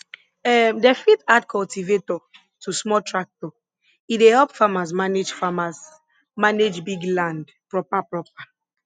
um dem fit add cultivator to small tractor e dey help farmers manage farmers manage big land proper proper